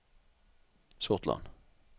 Sortland